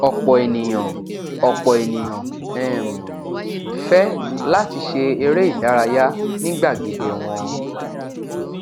ọpọ ènìyàn ọpọ ènìyàn um fẹ láti ṣe eré ìdárayá ní gbàgede wọn